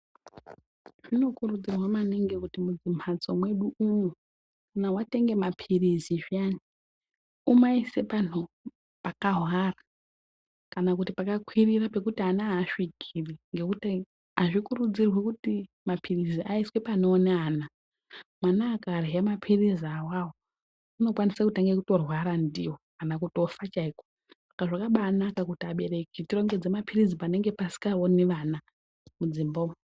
Zvinokudzirwa maningi kuti mumamhatso mwedu umwo kana watenge mapirizi zviyani umaise panhu pakahwara kana kuti pakakwirira pekuti ana aasvikiri ngekuti azvikurudzirwi kuti mapirizi aiswe panoone ana. Mwana akarye mapirizi awawo unokwaise kutange kutorwara ndiwo kana kutofa chaiko saka zvakabaanaka kuti vabereki tirongedze mapirizi panenge pasingaoni vana mudzimba umu.